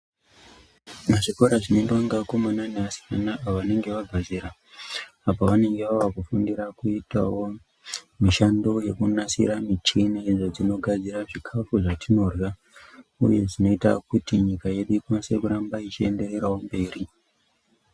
Muzvikora zvinoendwa ngeakomana neasikana vanenge vabva zera apa vanenge vavakufundira kuitawo mishando yekunasira michini idzo dzinogadzira zvikafu zvatinorya. Uye dzinoita kuti nyika yedu ikwanise kuramba ichiendererawo mberi.